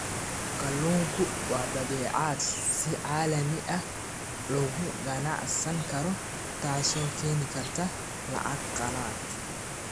Kalluunku waa badeecad si caalami ah looga ganacsan karo, taasoo keeni karta lacag qalaad.